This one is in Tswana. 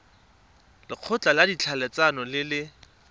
lekgotla la ditlhaeletsano le le